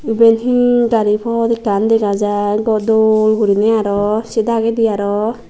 iben hi gari pot ekkan dega jai dol guriney aro sei dagedi aro.